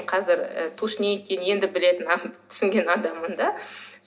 қазір і тушь не екенін енді біле түсінген адаммын да